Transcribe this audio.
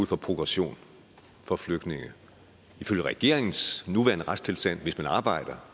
for progression for flygtninge ifølge regeringens nuværende retstilstand hvis man arbejder